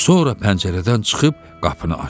Sonra pəncərədən çıxıb qapını açdı.